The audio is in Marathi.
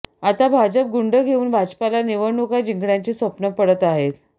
आता भाजप गुंड घेऊन भाजपला निवडणुका जिंकण्याची स्वप्नं पडत आहेत